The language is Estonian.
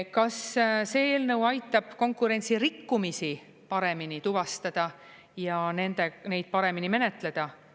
Kas see eelnõu aitab konkurentsirikkumisi paremini tuvastada ja neid paremini menetleda?